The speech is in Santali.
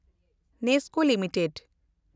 ᱱᱮᱥᱠᱳ ᱞᱤᱢᱤᱴᱮᱰ